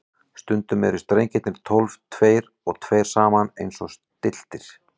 Stundum eru strengirnir tólf, tveir og tveir saman og eins stilltir.